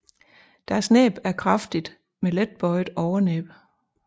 Deres næb er kraftigt med let bøjet overnæb